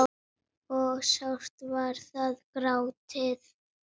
og sárt var þar grátið.